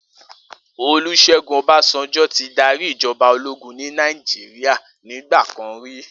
Olusegun Obasanjo ti dàrí ijòbá ólógùn ni Nàijiriá nigbàkán ri